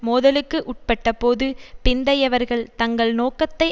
மோதலுக்கு உட்பட்டபோது பிந்தையவர்கள் தங்கள் நோக்கத்தை